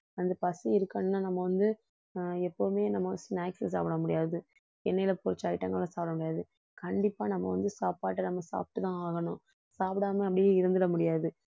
அந்த பசி இருக்கணும்னா நம்ம வந்து ஆஹ் எப்பவுமே நம்ம snacks சாப்பிட முடியாது எண்ணெயில பொரிச்ச item ங்களை சாப்பிட முடியாது கண்டிப்பா நம்ம வந்து சாப்பாடை நம்ம சாப்பிட்டுத்தான் ஆகணும் சாப்பிடாம அப்படியே இருந்திட முடியாது